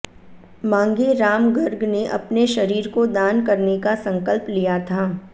मांगे राम गर्ग ने अपने शरीर को दान करने का संकल्प लिया था